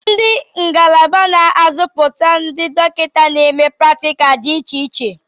Ndị ngalaba n'azụputa ndị dọkịta na-eme pratikal dị iche iche.